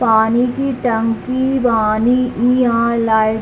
पानी की टंकी बानी ईहां लाइट --